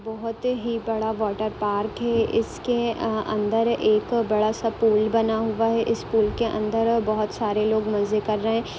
बोहत ही बड़ा वाटर पार्क है इसके अ अंदर एक बड़ा सा पुल बना हुवा है। इस पुल के अन्दर बोहत सारे लोग मजे कर रहे हैं।